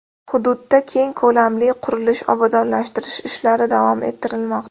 Hududda keng ko‘lamli qurilish-obodonlashtirish ishlari davom ettirilmoqda.